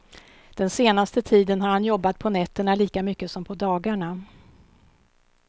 Den senaste tiden har han jobbat på nätterna lika mycket som på dagarna.